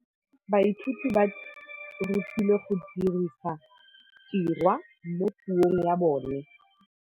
Baithuti ba rutilwe go dirisa tirwa mo puong ya bone.